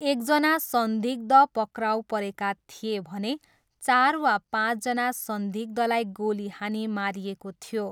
एकजना संदिग्ध पक्राउ परेका थिए भने चार वा पाँचजना संदिग्धलाई गोली हानी मारिएको थियो।